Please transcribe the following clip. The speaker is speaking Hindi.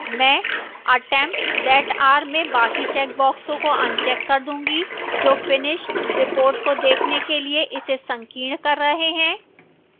मैं attempts that are में बाकी checkboxes को अनचेक कर दूंगी जो finished reports को देखने के लिए इसे संकीर्ण कर रहे हैं